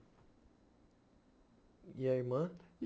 E a irmã?